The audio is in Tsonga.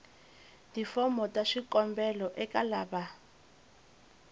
tifomo ta swikombelo eka lava